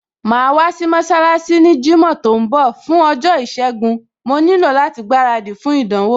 Màá wá ní mọṣálásí ní jímọ̀ tó ń bọ̀, fún ọjọ́ ìṣẹgun, mo nílò láti gbaradì fún ìdánwò